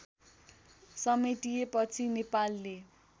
समेटिएपछि नेपालले